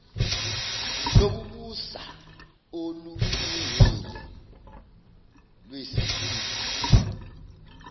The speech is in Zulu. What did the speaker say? lokubusa olulungile lweskimu